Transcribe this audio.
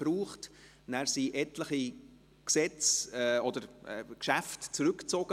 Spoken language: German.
Dann wurden vom Regierungsrat etliche Gesetze oder Geschäfte zurückgezogen.